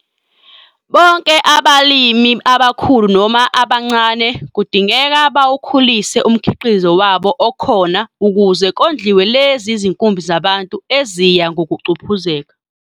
Bonke abalimi abakhulu noma abancane kudingeka bawukhulise umkhiqizo wabo okhona ukuze kondliwe lezi zinkumbi zabantu eziya ngokuphucuzeka.